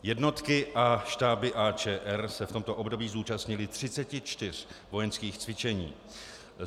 Jednotky a štáby AČR se v tomto období zúčastnily 34 vojenských cvičení.